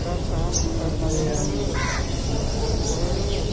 तब साम कु सब्जी बणोलू अर खौलू।